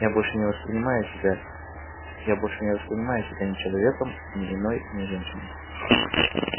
я больше не воспринимаю себя я больше не воспринимаю себя ни человеком ни иной ни женщиной